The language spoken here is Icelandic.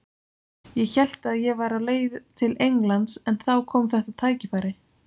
Ég hélt að ég væri á leið til Englands en þá kom þetta tækifæri.